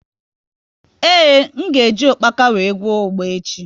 Ee, m ga e ji ukpaka wee gwọọ ugba echi